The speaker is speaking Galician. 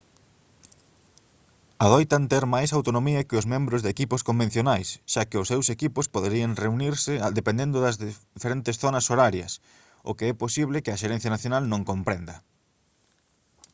adoitan ter máis autonomía que os membros de equipos convencionais xa que os seus equipos poderán reunirse dependendo das diferentes zonas horarias o que é posible que a xerencia nacional non comprenda